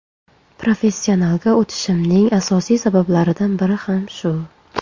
Professionalga o‘tishimning asosiy sabablaridan biri ham shu.